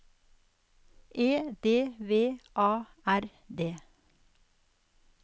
E D V A R D